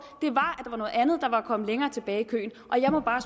at andet der var kommet længere tilbage i køen og jeg må bare